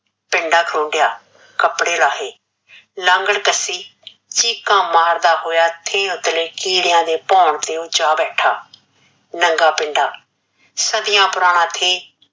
ਪਿੰਡਾਂ ਖੋਨੜਿਆ, ਕੱਪੜੇ ਲਾਹੈ, ਲਾਂਗੜ ਕਸੀ, ਚੀਕਾਂ ਮਰਦਾ ਹੋਇਆ ਥੇਲ ਤਲੇ ਕਿੱਡਿਆ ਦੇ ਭੋਣ ਤੇ ਓਹ ਜਾ ਬੈਠਾ, ਨਗ਼ਾਂ ਪਿੰਡਾਂ, ਸੱਦਿਆ ਪੁਰਾਣਾ ਥੇ,